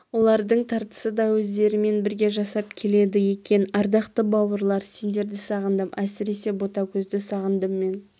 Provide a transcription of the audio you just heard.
олардың тартысы да өздерімен бірге жасап келеді екен ардақты бауырлар сендерді сағындым әсіресе ботагөзді сағындым мен